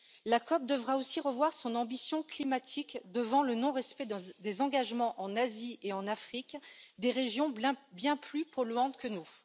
La COP devra aussi revoir son ambition climatique devant le non respect des engagements en Asie et en Afrique, deux régions bien plus polluantes que nous.